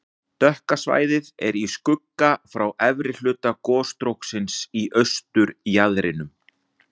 Dökka svæðið er í skugga frá efri hluta gosstróksins í austurjaðrinum.